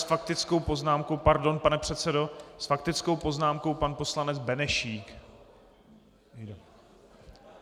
S faktickou poznámkou - pardon, pane předsedo - s faktickou poznámkou pan poslanec Benešík.